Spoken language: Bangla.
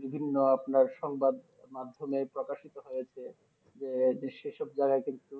বিভিন্ন আপনার সংবাদ মাধ্যমে প্রকাশিত হয়েছে যে সেসব জাগায় কিন্তু